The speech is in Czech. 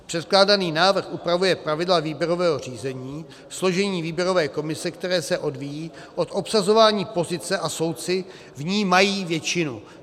Předkládaný návrh upravuje pravidla výběrového řízení, složení výběrové komise, které se odvíjí od obsazování pozice, a soudci v ní mají většinu.